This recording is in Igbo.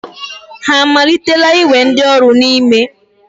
Ha amalitela iwe ndioru n'ime?